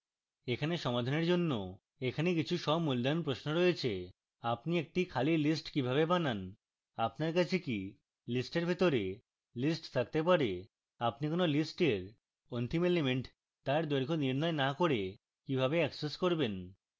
এখানে সমাধানের জন্য এখানে কিছু স্বমূল্যায়ন প্রশ্ন রয়েছে